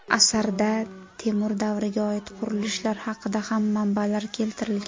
Asardan Temur davriga oid qurilishlar haqida ham manbalar keltirilgan.